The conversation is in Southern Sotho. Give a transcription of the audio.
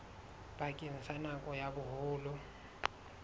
bakeng sa nako ya boholo